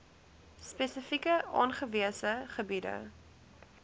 spesifiek aangewese gebiede